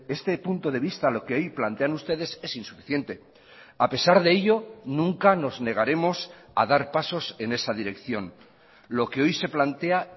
este punto de vista lo que ahí plantean ustedes es insuficiente a pesar de ello nunca nos negaremos a dar pasos en esa dirección lo que hoy se plantea